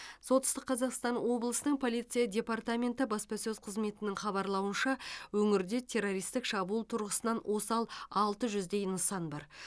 солтүстік қазақстан облысының полиция департаменті баспасөз қызметінің хабарлауынша өңірде террористік шабуыл тұрғысынан осал алты жүздей нысан бар